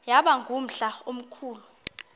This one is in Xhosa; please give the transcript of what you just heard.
yaba ngumhla omkhulu